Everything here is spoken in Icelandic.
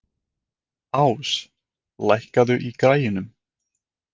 Ás, lækkaðu í græjunum.